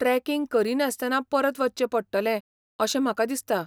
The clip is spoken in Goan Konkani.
ट्रॅकिंग करिनासतना परत वचचें पडटलें अशें म्हाका दिसता.